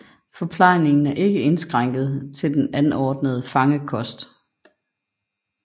Forplejningen er ikke indskrænket til den anordnede fangekost